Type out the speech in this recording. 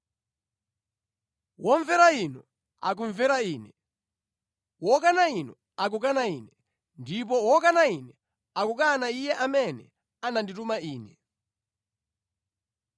“Womvera inu, akumvera Ine; wokana inu, akukana Ine. Ndipo wokana Ine; akukana Iye amene anandituma Ine.”